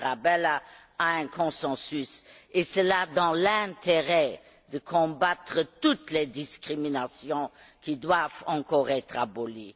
Tarabella, à un consensus, et cela dans l'intérêt de combattre toutes les discriminations qui doivent encore être abolies.